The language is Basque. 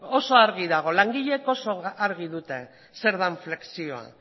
oso argi dago langileek oso argi dute zer den flexioa